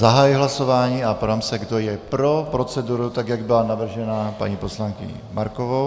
Zahajuji hlasování a ptám se, kdo je pro proceduru, tak jak byla navržena paní poslankyní Markovou.